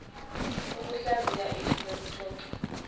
ukuhlaziya isu lokuxoxwa